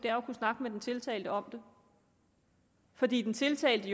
er at kunne snakke med den tiltalte om det fordi den tiltalte